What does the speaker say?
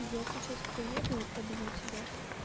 я сейчас приеду и побью тебя